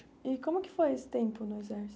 E como que foi esse tempo no exército?